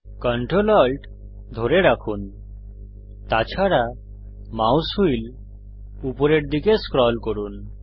ctrl alt ধরে রাখুন তাছাড়া মাউস হুইল উপরের দিকে স্ক্রল করুন